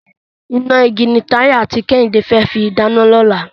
Iná igi ni Táyé àti Kẹ́hìndé fẹ́ fi dáná lọ́la.